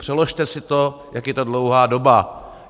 Přeložte si to, jak je to dlouhá doba.